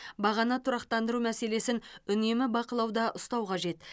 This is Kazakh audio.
бағаны тұрақтандыру мәселесін үнемі бақылауда ұстау қажет